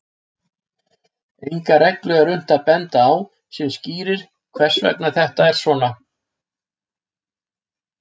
Enga reglu er unnt að benda á sem skýrir hvers vegna þetta er svona.